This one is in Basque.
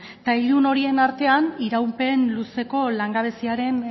eta ilun horien artean iraupen luzeko langabeziaren